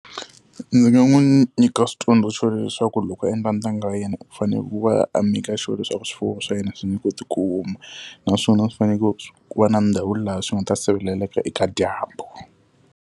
Ndzi nga nyika switsundzuxo leswaku loko a endla ntanga wa yena u fanele ku va a make-a sure leswaku swifuwo swa yena swi nge koti ku huma, naswona swi fanele ku va na ndhawu laha swi nga ta sirheleleka eka dyambu.